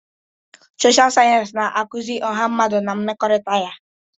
Sọsha sayensị na-akụzi ọha mmadụ na mmekọrịta ya.